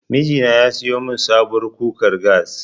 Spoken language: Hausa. Miji na ya siyo min sabuwar kukar gas.